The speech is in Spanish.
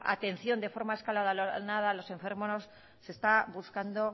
atención de forma escalonada a los enfermos se está buscando